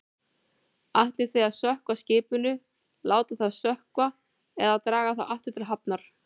Ætlið þið að sökkva skipinu, láta það sökkva eða draga það aftur til hafnar?